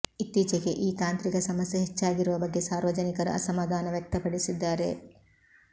ಇತ್ತೀಚೆಗೆ ಈ ತಾಂತ್ರಿಕ ಸಮಸ್ಯೆ ಹೆಚ್ಚಾಗಿರುವ ಬಗ್ಗೆ ಸಾರ್ವಜನಿಕರು ಅಸಮಾಧಾನ ವ್ಯಕ್ತಪಡಿಸಿದ್ದಾರೆ